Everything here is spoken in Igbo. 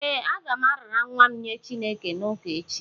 Ee, aga m arara nwa m nye Chineke n’ụka echi